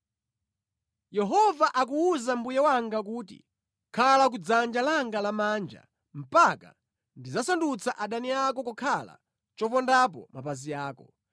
Yehova akuwuza Mbuye wanga kuti, “Khala ku dzanja langa lamanja mpaka nditasandutsa adani ako kukhala chopondapo mapazi ako.”